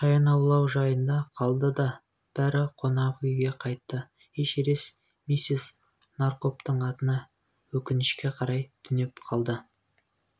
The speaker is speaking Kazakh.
шаян аулау жайына қалды да бәрі қонақүйг қайтты эшерест миссис наракомбтың атына өкінішке қарай түнеп қалдым